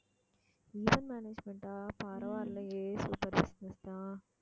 event management ஆ பரவாயில்லையே super business தான்